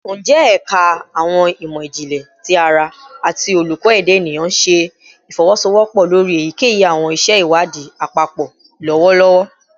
Njẹ Ẹka Awọn imọ-jinlẹ ti ara ati Oluko Eda Eniyan ṣe ifowosowopo lori eyikeyi awọn iṣẹ iwadii apapọ lọwọlọwọ?